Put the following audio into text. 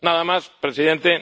Nada más, presidenta.